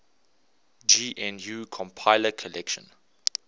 gnu compiler collection